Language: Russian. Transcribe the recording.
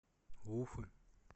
уфы